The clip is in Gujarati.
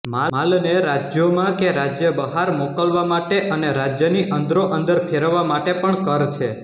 માલને રાજ્યોમાં કે રાજ્ય બહાર મોકલવા માટે અને રાજ્યની અંદરોઅંદર ફેરવવા માટે પણ કર છે